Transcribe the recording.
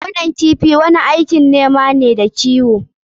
Gonan kifi wani aiki ne na noma da kiwo.